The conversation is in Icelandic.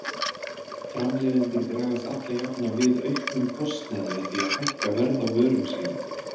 Framleiðendur bregðast alla jafna við auknum kostnaði með því að hækka verð á vörum sínum.